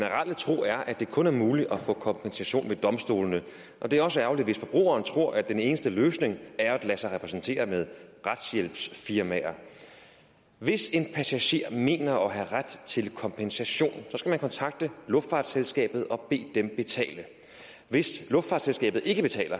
tro er at det kun er muligt at få kompensation ved domstolene og det er også ærgerligt hvis forbrugeren tror at den eneste løsning er at lade sig repræsentere ved retshjælpsfirmaer hvis en passager mener at have ret til kompensation skal man kontakte luftfartsselskabet og bede dem betale hvis luftfartsselskabet ikke betaler